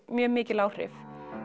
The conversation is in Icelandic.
mjög mikil áhrif